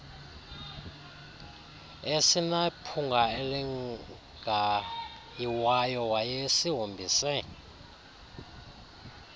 esinephunga elingayiwayo wayesihombise